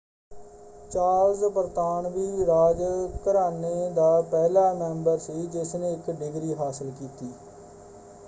Charles ਬਰਤਾਨਵੀ ਰਾਜ ਘਰਾਨੇ ਦਾ ਪਹਿਲਾ ਮੈਂਬਰ ਸੀ ਜਿਸਨੇ ਇੱਕ ਡਿਗਰੀ ਹਾਸਲ ਕੀਤੀ।